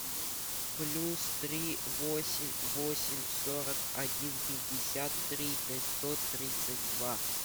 плюс три восемь восемь сорок один пятьдесят три пятьсот тридцать два